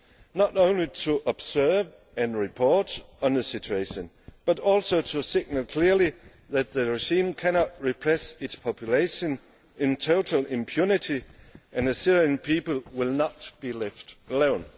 do. Not only to observe and report on the situation, but also to signal clearly that the regime cannot repress its population in total impunity and the Syrian people will not be left alone.